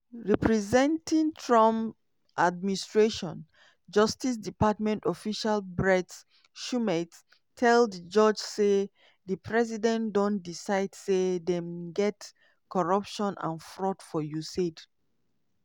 representing trump administration justice department official brett shumate tell di judge say di president " don decide say dem get corruption and fraud for usaid".